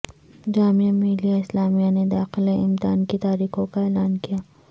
جامعہ ملیہ اسلامیہ نے داخلہ امتحان کی تاریخوں کااعلان کیا